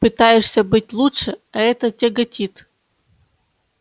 пытаешься быть лучше а это тяготит